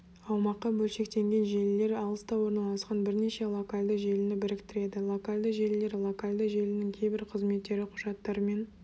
аумаққа бөлшектенген желілер алыста орналасқан бірнеше локальды желіні біріктіреді локальды желілер локальды желінің кейбір қызметтері құжаттармен